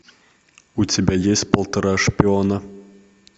у тебя есть полтора шпиона